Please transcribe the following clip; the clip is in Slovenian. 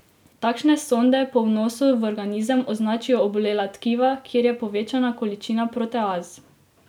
Takšne sonde po vnosu v organizem označijo obolela tkiva, kjer je povečana količina proteaz.